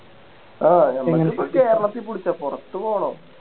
ആ നമുക്ക് ഈ കേരളത്തിൽ പിടിച്ച പൊറത്ത് പോണോ